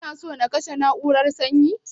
Kina so na kashe na'urar sanyin.